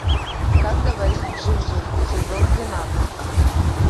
как говорит джинджер сезон двенадцать